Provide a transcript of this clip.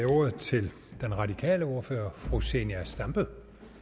ordet til den radikale ordfører fru zenia stampe